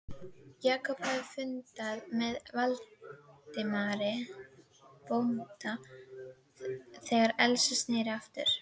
Jakob hafði fundað með Valdimari bónda þegar Elsa sneri aftur.